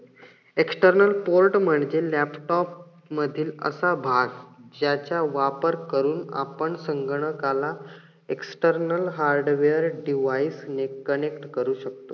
external port म्हणजे laptop मधील असा भाग ज्याचा वापर करून आपण संगणकाला external hardware device ने connect करू शकतो.